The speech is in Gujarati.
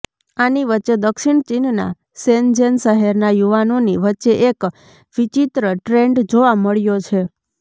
આની વચ્ચે દક્ષિણ ચીનના શેનજેન શહેરના યુવાનોની વચ્ચે એક વિચિત્ર ટ્રેન્ડ જોવા મળ્યો છે